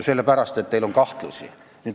... sellepärast, et teil on kahtlusi.